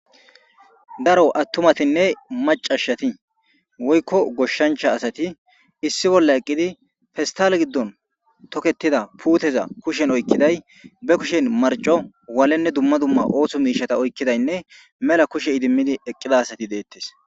daro attumatinne macashati woykko goshshancha asati issi bolla eqqidi fistal giddon toketida puuteza kushen oykkiday be kushen marco walenne dumma dumma ooththo miishata oykkidaynne mela kushe idimmidi eqqida asati deettes